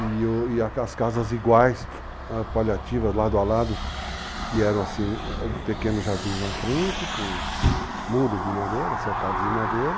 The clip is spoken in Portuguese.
E as casas iguais, paliativas, lado a lado, que eram assim pequenos jardins na frente, com muros de madeira, cercados de madeira.